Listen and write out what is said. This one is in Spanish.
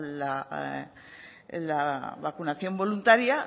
la vacunación voluntaria